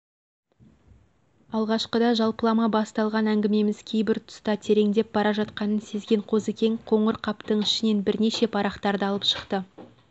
алғашқыда жалпылама басталған әңгімеміз кейбір тұста тереңдеп бара жатқанын сезген қозыкең қоңыр қаптың ішінен бірнеше парақтарды алып шықты